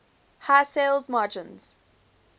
high sales margins